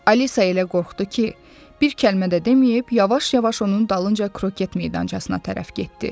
Alisa elə qorxdu ki, bir kəlmə də deməyib yavaş-yavaş onun dalınca kroket meydançasına tərəf getdi.